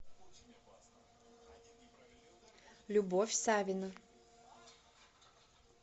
любовь савина